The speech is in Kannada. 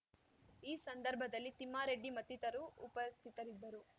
ಈ ಸಂದರ್ಭದಲ್ಲಿ ತಿಮ್ಮಾರೆಡ್ಡಿ ಮತ್ತಿತರು ಉಪಸ್ಥಿತರಿದ್ದರು